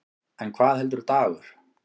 En hvað heldur Dagur?